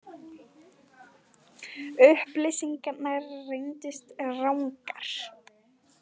Upplýsingarnar reyndust rangar